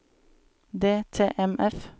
DTMF